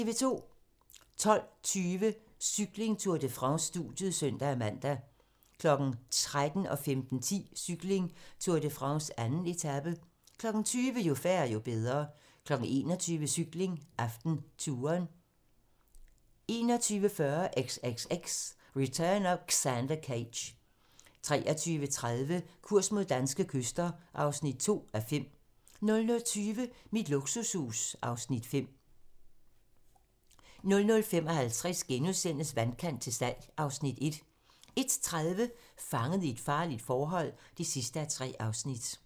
12:20: Cykling: Tour de France - studiet (søn-man) 13:00: Cykling: Tour de France - 2. etape 15:10: Cykling: Tour de France - 2. etape 20:00: Jo færre, jo bedre 21:00: Cykling: AftenTouren 21:40: XXX: Return of Xander Cage 23:30: Kurs mod danske kyster (2:5) 00:20: Mit luksushus (Afs. 5) 00:55: Vandkant til salg (Afs. 1)* 01:30: Fanget i et farligt forhold (3:3)